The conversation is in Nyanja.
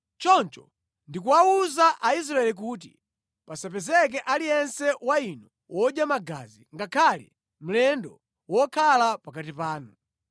Choncho ndikuwawuza Aisraeli kuti, ‘Pasapezeke aliyense wa inu wodya magazi, ngakhale mlendo wokhala pakati panu.’ ”